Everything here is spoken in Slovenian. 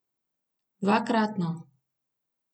Dvakratno.